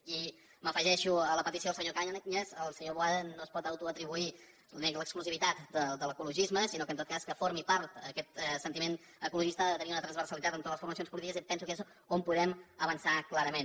i m’afegeixo a la petició del senyor cañas el senyor boada no es pot autoatri buir l’exclusivitat de l’ecologisme sinó que en tot cas que formi part d’aquest sentiment ecologista ha de tenir una transversalitat amb totes les formacions polítiques i em penso que és on podem avançar clarament